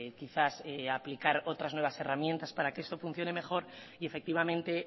quizás que aplicar otras nuevas herramientas para que eso funcione mejor y efectivamente